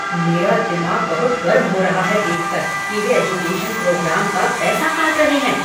मेरा दिमाग बहुत गर्म हो रहा है देख कर कि वे एजुकेशन प्रोग्राम का पैसा काट रहे हैं।